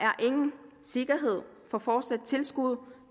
ingen sikkerhed for fortsat tilskud